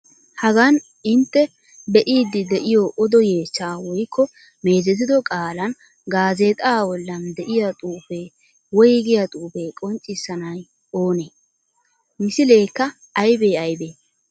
Hagan intte be'iiddi de'iyo odo yeechchaa woykko meezetido qaalan gaazexaa bollan de'iya xuufee, woygiya xuufee qonccissanay oonee? Misileekka aybee aybee?